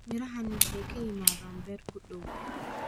Mirahani waxay ka yimaadeen beer ku dhow.